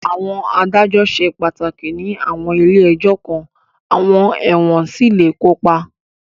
Àwọn adájọ́ ṣe pàtàkì ní àwọn ilé ẹjọ́ kan, àwọn ẹ̀wọ̀n sì lè kópa.